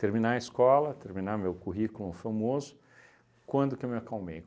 Terminar a escola, terminar meu currículo famoso, quando que eu me acalmei?